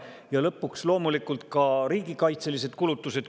Ja lõpuks loomulikult ka riigikaitselised kulutused.